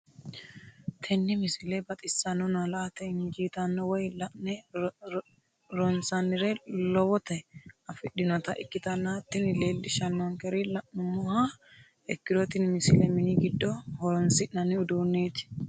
tenne misile baxisannonna la"ate injiitanno woy la'ne ronsannire lowote afidhinota ikkitanna tini leellishshannonkeri la'nummoha ikkiro tini misile mini giddo horoonsi'nanni uduunneeti.